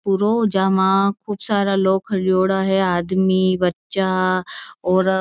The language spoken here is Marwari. पुरो जमा खूब सारा लोग खरियोडा है आदमी बच्चा औरत--